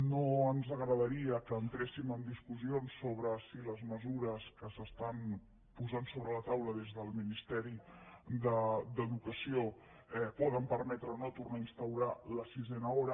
no ens agradaria que entréssim en discussions sobre si les mesures que es posen sobre la taula des del ministeri d’educació poden permetre o no tornar a instaurar la sisena hora